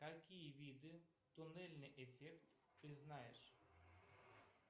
какие виды туннельный эффект ты знаешь